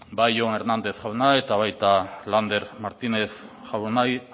bai hernández jauna eta baita martínez jaunari